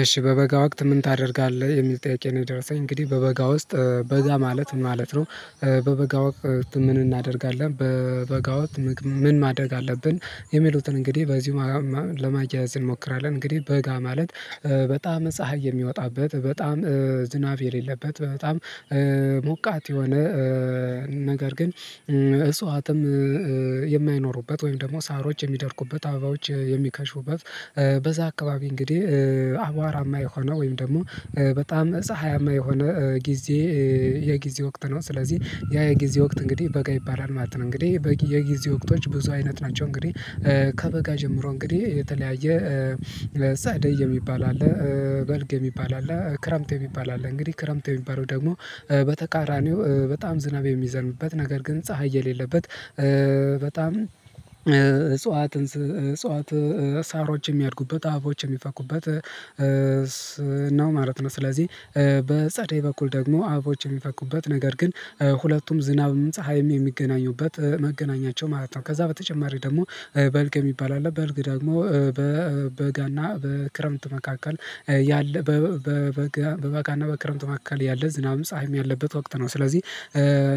እሺ በበጋ ወቅት ምን ታደርጋለህ የሚል ጥያቄ ነው? የደርሰኝ እንግዲህ በበጋ ውስጥ በጋ ማለት ማለት ነው። በበጋ ወቅት ምን እናደርጋለን በበጋ ወቅት ምን ማደግ አለብን? የሚሉትን እንግዲህ በዚህ ለማያያዝ እንሞክራለን እንግዲህ በጋ ማለት በጣም ፀሀይ የሚወጣበት በጣም ዝናብ የሌለበት በጣም ሞቃት የሆነ ነገር ግን እፅዋትም የማይኖሩበት ወይም ደግሞ ሳሮች የሚደርቁበት አበባዎች የሚከሽፉበት በዛ አካባቢ እንግዲህ አቧራማ የሆነ ወይም ደግሞ በጣም ፀሀያማ የሆነ ጊዜ የጊዜ ወቅት ነው። ስለዚህ ያ የጊዜ ወቅት እንግዲህ በጋ ይባላል ማለት ነው። እንግዲህ የጊዜ ወቅቶች ብዙ አይነት ናቸው። እንግዲህ ከበጋ ጀምሮ እንግዲህ የተለያየ ጸደይ የሚባል አለ። በልግ የሚባል አለ ክረምት የሚባል አለ። እንግዲህ ክረምት የሚባለው ደግሞ በተቃራኒው በጣም ዝናብ የሚዘንብበት ነገር ግን ፀሀይ የሌለበት በጣም እጽዋት እጽዋት ሳሮች የሚያድጉበት አበቦች የሚፈኩበት ነው ማለት ነው። ስለዚህ በጸደይ በኩል ደግሞ አበቦች የሚፈኩበት ነገር ግን ሁለቱም ዝናብ ምን ፀሀይም የሚገናኙበት መገናኛቸው ማለት ነው። ከዛ በተጨማሪ ደግሞ በልግ የሚባል አለ። በልግ ደግሞ በበጋና በክረምት መካከል ያለ በበጋ በበጋና በክረምቱ መካከል ያለ ዝናብ ፀሀይም ያለበት ወቅት ነው። ስለዚህ